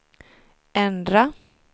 ändra